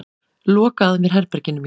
Loka að mér herberginu mínu.